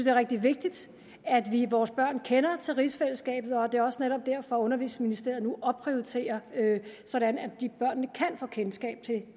er rigtig vigtigt at vores børn kender til rigsfællesskabet og det er også netop derfor undervisningsministeriet nu opprioriterer det sådan at børnene kan få kendskab til